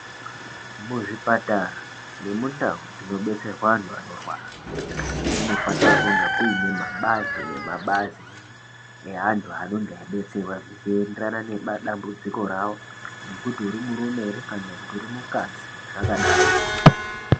Muzvipatara nemundau dzinodetserwa antu anorwara Munofanira kunge muine mabazi nemabazi neantu anenge achdidetserwa zvitenda zvinoenderana nemadambudziko awo nekuti uri murume here kana kuti uri mukadzi zvakadaroko.